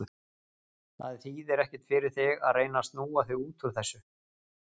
Það þýðir ekkert fyrir þig að reyna að snúa þig út úr þessu.